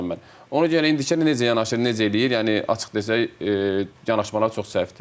Ona görə indiki necə yanaşır, necə eləyir, yəni açıq desək yanaşmalar çox səhvdir.